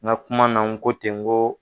N ka kuma na n ko ten ko